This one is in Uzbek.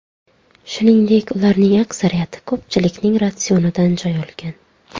Shuningdek, ularning aksariyati ko‘pchilikning ratsionidan joy olgan.